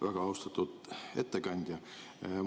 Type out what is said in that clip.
Väga austatud ettekandja!